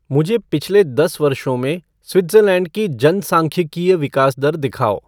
मुझे पिछले दस वर्षों में स्विट्ज़रलैंड की जनसांख्यिकीय विकास दर दिखाओ